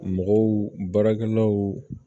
Mɔgɔw baarakɛlaw